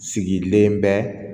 Sigilen bɛ